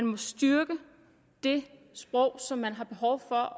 må styrke det sprog som man har behov for